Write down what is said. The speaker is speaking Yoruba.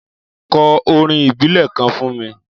Kò órín ìbílè kàn fún mi